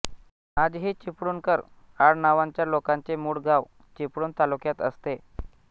आजही चिपळूणकर आडनावांच्या लोकांचे मूळ गाव चिपळूण तालुक्यात असते